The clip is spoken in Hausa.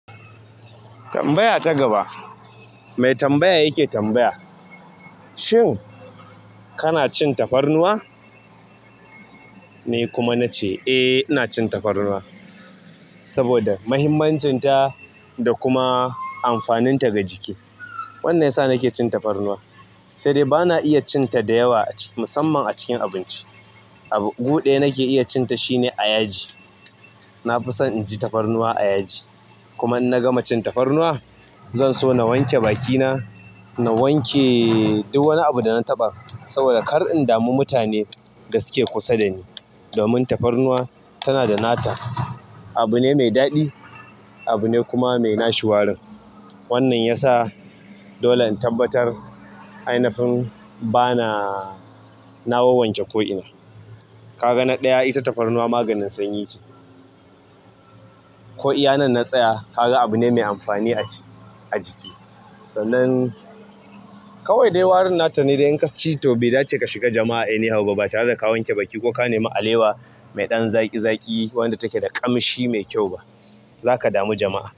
Tambaya ta gaba, mai tambaya yake tambaya. Shin kana cin tafarnuwa? Ni kuma na ce, "Eh, ina cin tafarnuwa saboda muhimmancinta da kuma amfaninta ga jiki." Wannan ya sa nake cin tafarnuwa, sai dai bana iya cin ta da yawa musamman a cikin abinci. A gu ɗaya nake iya cin ta shine a yaji. Na fi son inji tafarnuwa a yaji. Kuma in na gama cin tafarnuwa, zan so na wanke bakina, na wanke duk wani abu da na taɓa saboda kar in damu mutane da suke kusa dani. Domin tafarnuwa tana da nata. Abu ne mai daɗi, abu ne kuma mai nashi warin. Wannan ya sa dole in tabbatar ainafin bana, na wawwanke ko ina. Ka ga na ɗaya ita tafarnuwa maganin sanyi ce, ko iyanan natsaya ka ga abu ne mai amfani a jiki. Sannan kawai dai warin nata ne dai in kaci to bai dace ka shiga jama'a ba tare da wanke baki ko ka nemi alewa mai ɗan zaƙi-zaƙi wanda take da ƙamshi mai kyau ba. Za ka damu jama'a.